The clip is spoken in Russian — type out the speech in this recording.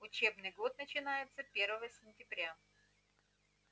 учебный год начинается первого сентября